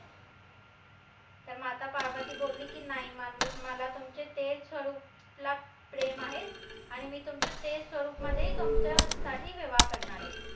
तर माता पार्वती बोलली की नाई मला तुमचे तेच स्वरूपला प्रेम आहे आणि मी तुमचे ते स्वरूपमध्ये तुमच्या साठी विवाह करनार ए